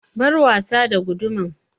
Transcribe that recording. Bar wasa da gudumar!